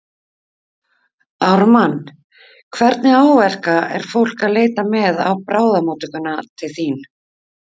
Ármann, hvernig áverka er fólk að leita með á bráðamóttökuna til þín?